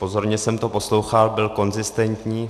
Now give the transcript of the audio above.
Pozorně jsem to poslouchal, byl konzistentní.